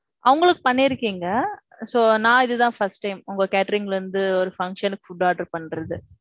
அவங்களுக்கு பண்ணி இருக்கீங்க. So நான் இது தான் first time. உங்க catering ல இருந்து ஒரு function க்கு food order பண்றது.